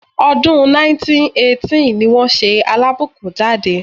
Ọdún 1918 ní wọ́n ṣe Alábùkún jáde.